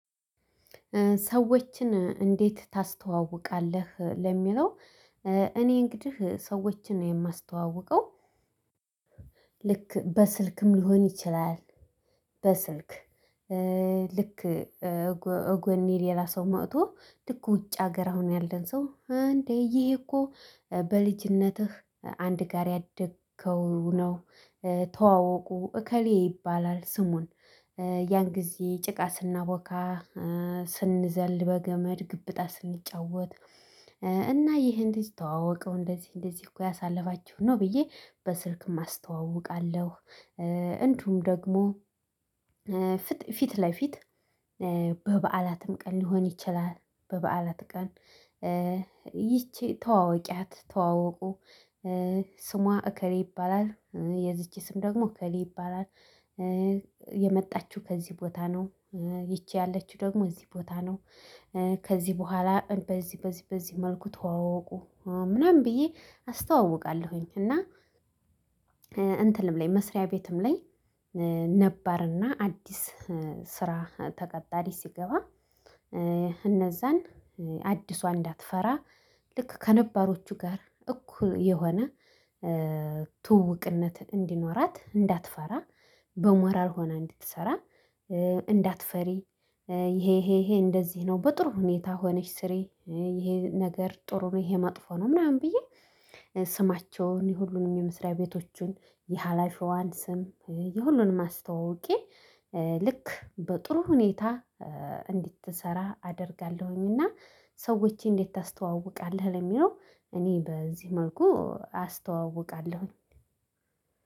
ሰዎችን እንዴት ታስተዋውቃለህ ለሚለው? እኔ እንግዲህ ሰዎችን የማስተዋውቀው ልክ በስልክም ሊሆን ይችላል በስልክ ልክ ጎኔ ሌላ ሰው መጦ ልክ ውጭ ሀገር አሁን ያለን ሰው እንዴ ይሄ እኮ በልጅነትህ አንድ ጋር ያደግከው ነው ተዋወቁ እከሌ ይባላል ስሙን ያን ጊዜ ጭቃ ስናቦካ ስንዘል በገመድ ገበጣ ስንጫወት እና ይሄን ልጅ ተዋወቀው እንደዚህ እንደዚህ እኮ ያሳለፋችሁ ነው ብዬ በስልክ አስተዋውቃለሁ። እንዲሁም ደግሞ ፊት ለፊት በበዓላትም ቀን ሊሆን ይችላል በበዓላት ቀን ይቺ ተዋወቂያት ተዋወቁ ስሟ እከሌ ይባላል የዚች ስም ደግሞ እከሌ ይባላል። የመጣችው ከዚህ ቦታ ነው ይቺ ያለችው ደግሞ እዚህ ቦታ ነው። ከዚህ በኋላ በዚህ በዚህ በዚህ መልኩ ተዋወቁ ምናምን ብዬ አስተዋውቃለሁኝ። እና እንትንም ላይ መስሪያ ቤትም ላይ ነባርና አዲስ ስራ ተቀጣሪ ሲገባ እነዛን አዲሷ እንዳትፈራ ልክ ከነባሮቹ ጋር እኩል የሆነ ትውውቅነት እንዲኖራት እንዳትፈራ በሞራል ሆና እንድትሰራ። እንዳትፈሪ ይሄ ይሄ ይሄ እንደዚህ ነው በጥሩ ሁኔታ ሆነሽ ስሬ ይሄ ነገር ጥሩ ነው ይሄ መጥፎ ነው። ምናምን ብዬ ስማቸውን የሁሉንም የመስሪያ ቤቶቹን የሃላፊዋን ስም የሁሉንም አስተዋውቄ ልክ በጥሩ ሁኔታ እንድትሰራ አደርጋለሁኝና። ሰዎችን እንዴት ታስተዋውቃለህ ለሚለው? እኔ በዚህ መልኩ አስተዋውቃለሁኝ።